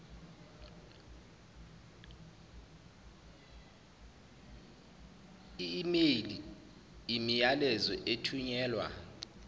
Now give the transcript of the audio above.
email imiyalezo ethunyelwa